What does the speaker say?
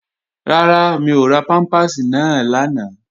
Rárá, mi ò ra pámpàsì náà lánàá